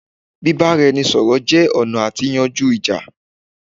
bíbáranisọ̀rọ̀ jẹ́ ọ̀nà àti yanjú ìjà